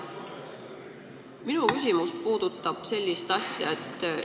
Lugupeetud ettekandja!